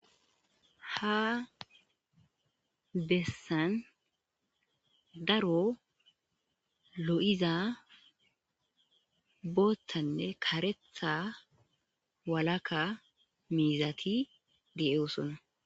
ha bessan daro lo7iza boottanne karetha walakka miizati deyeosona